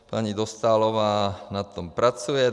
Paní Dostálová na tom pracuje.